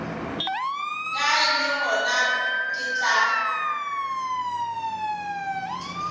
kae le gona ke tla